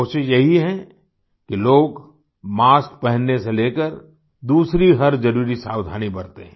कोशिश यही है कि लोग मास्क पहनने से लेकर दूसरी हर ज़रूरी सावधानी बरतें